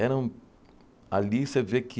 Era um... Ali você vê que...